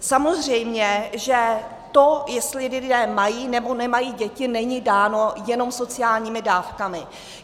Samozřejmě že to, jestli lidé mají, nebo nemají děti, není dáno jenom sociálními dávkami.